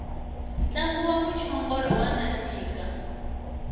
ntlangu wa mchongolo wa nandika